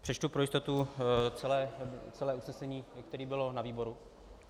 Přečtu pro jistotu celé usnesení, které bylo na výboru.